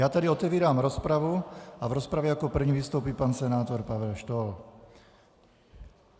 Já tedy otevírám rozpravu a v rozpravě jako první vystoupí pan senátor Pavel Štohl.